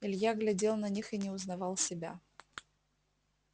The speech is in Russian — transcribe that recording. илья глядел на них и не узнавал себя